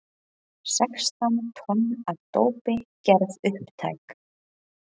Sextán tonn af dópi gerð upptæk